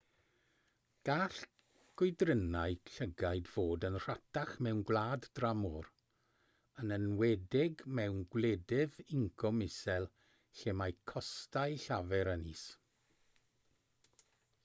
gall gwydrynnau llygaid fod yn rhatach mewn gwlad dramor yn enwedig mewn gwledydd incwm isel lle mae costau llafur yn is